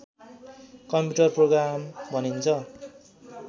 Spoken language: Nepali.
कम्प्युटर प्रोग्राम भनिन्छ